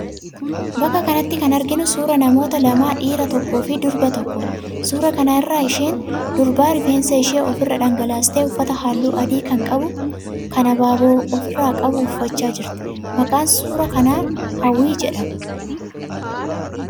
Bakka kanatti kan arginu suuraa namoota lamaa, dhiira tokkoofi durba tokkoodha. Suuraa kana irraa isheen durbaa rifeensa ishee ofi irra dhangalaastee uffata halluu adii kan abaaboo ofi irraa qabu uffachaa jirti. Maqaan suuraa kanaa Hawwii jedhama.